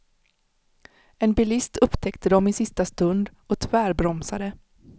En bilist upptäckte dem i sista stund och tvärbromsade.